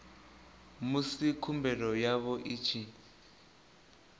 musi khumbelo yavho i tshi